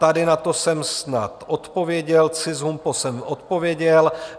Tady na tom jsem snad odpověděl, CIS - HUMPO jsem odpověděl.